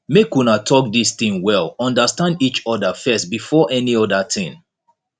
make una talk dis thing well understand each other first before any other thing